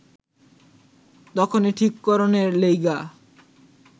তখনে ঠিক করনের লেইগা